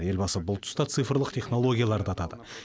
елбасы бұл тұста цифрлық технологияларды атады